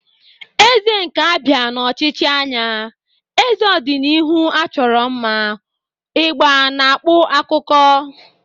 Eze nke Abia n'ochichi anya, eze odinihu achoro mma, ugba na-akpu akuko.